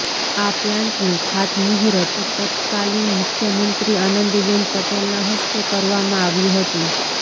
આ પ્લાન્ટનું ખાતમુહૂર્ત તત્કાલિન મુખ્યમંત્રી આનંદીબેન પટેલના હસ્તે કરવામાં આવ્યું હતું